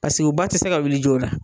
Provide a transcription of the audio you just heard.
Paseke o ba tɛ se ka wili joona